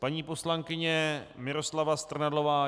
Paní poslankyně Miroslava Strnadlová.